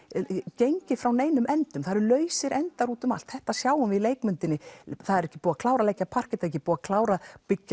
gengið frá neinum endum það eru lausir endar út um allt þetta sjáum við í leikmyndinni það er ekki búið að klára að leggja parket ekki búið að klára